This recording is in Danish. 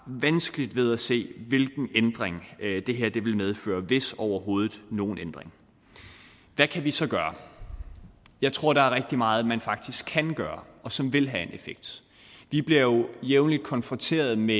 vanskeligt ved at se hvilken ændring det her vil medføre hvis overhovedet nogen ændring hvad kan vi så gøre jeg tror der er rigtig meget man faktisk kan gøre og som vil have en effekt vi bliver jo jævnlig konfronteret med